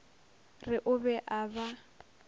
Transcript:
re o be a ba